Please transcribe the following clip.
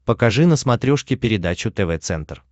покажи на смотрешке передачу тв центр